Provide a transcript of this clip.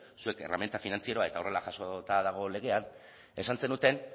zuek erreminta finantzieroa eta horrela jasota dago legean esan zenuten